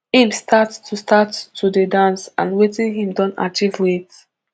im start to start to dey dance and wetin im don achieve wit